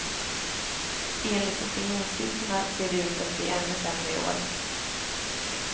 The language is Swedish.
Enligt opinionssiffrorna ser det ut att bli ännu sämre i år.